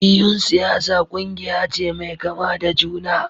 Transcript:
Jam'iyyun siyasa kungiya ce mai kama da juna.